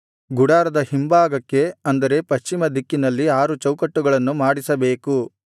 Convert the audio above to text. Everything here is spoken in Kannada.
ಗುಡಾರದ ಹಿಂಭಾಗಕ್ಕೆ ಅಂದರೆ ಪಶ್ಚಿಮ ದಿಕ್ಕಿನಲ್ಲಿ ಆರು ಚೌಕಟ್ಟುಗಳನ್ನು ಮಾಡಿಸಬೇಕು